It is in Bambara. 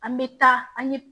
An bɛ taa an ye